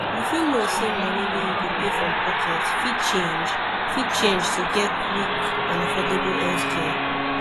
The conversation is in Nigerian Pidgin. you fit know say money wey you go pay from pocket fit change fit change to get quick and affordable healthcare